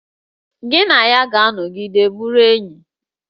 Gị na ya ga-anọgide bụrụ enyi!